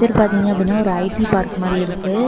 இது பாத்தீங்கன்னா ஒரு ஐ_டீ பார்க்க மாரி இருக்கு.